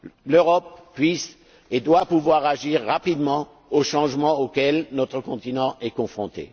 L'Europe doit pouvoir agir rapidement aux changements auxquels notre continent est confronté.